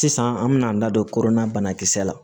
Sisan an bɛna an da don kodɔnna banakisɛ la